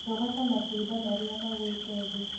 Rogota matunda marĩa magũĩte thĩ.